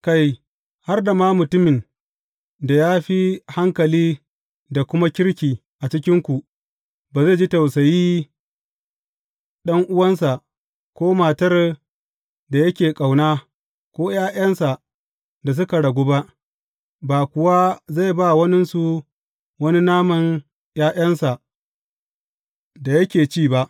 Kai, har da mutumin da ya fi hankali da kuma kirki a cikinku, ba zai ji tausayi ɗan’uwansa, ko matar da yake ƙauna, ko ’ya’yansa da suka ragu ba, ba kuwa zai ba waninsu wani naman ’ya’yansa da yake ci ba.